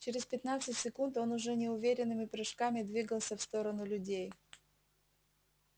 через пятнадцать секунд он уже неуверенными прыжками двигался в сторону людей